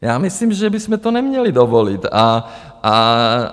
Já myslím, že bychom to neměli dovolit.